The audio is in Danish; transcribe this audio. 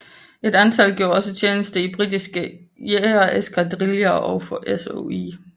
Et antal gjorde også tjeneste i britiske jagereskadriller og for SOE